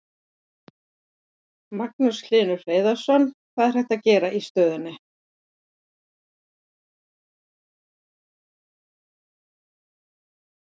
Magnús Hlynur Hreiðarsson: Hvað er hægt að gera í stöðunni?